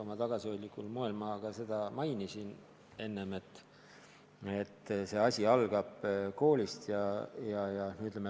Oma tagasihoidlikul moel ma ka enne mainisin, et kõik algab koolis.